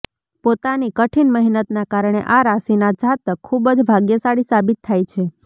પોતાની કઠીન મહેનતના કારણે આ રાશિના જાતક ખુબ જ ભાગ્યશાળી સાબિત થાય છે